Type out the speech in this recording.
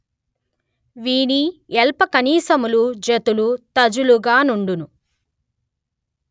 వీని యల్పకణిశములు జతలు తజలుగా నుండును